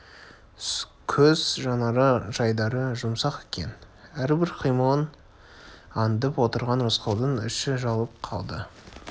көз жанары жайдары жұмсақ екен әрбір қимылын андып отырған рысқұлдың іші жылып қалды